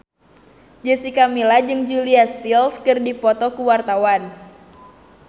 Jessica Milla jeung Julia Stiles keur dipoto ku wartawan